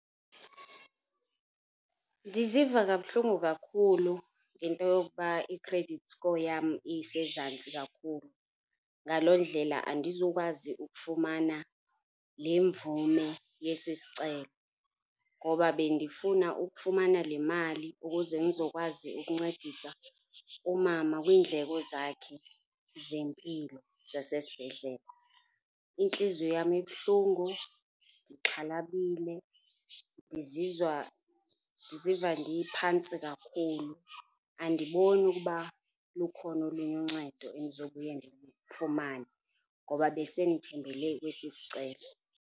Ndiziva kabuhlungu kakhulu ngento yokuba i-credit score yam isezantsi kakhulu, ngaloo ndlela andizukwazi ukufumana le mvume yesi sicelo ngoba bendifuna ukufumana le mali ukuze ndizokwazi ukuncedisa umama kwiindleko zakhe zempilo zasesibhedlele. Intliziyo yam ibuhlungu ndixhalabile, ngizizwa, ndiziva ndiphantsi kakhulu andiboni ukuba lukhona olunye uncedo endizobuya ndilufumane ngoba besendithembele kwesi sicelo.